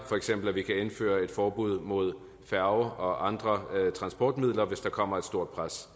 for eksempel kan indføre et forbud mod færger og andre transportmidler hvis der kommer et stort pres